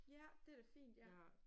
Ja det er da fint ja